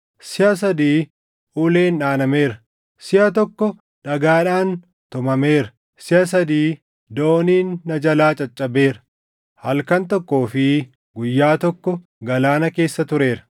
Siʼa sadii uleen dhaanameera; siʼa tokko dhagaadhaan tumameera; siʼa sadii dooniin na jalaa caccabeera; halkan tokkoo fi guyyaa tokko galaana keessa tureera;